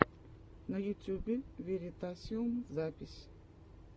на ютюбе веритасиум запись